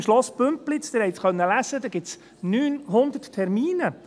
Im Schloss Bümpliz nämlich gibt es 900 Termine.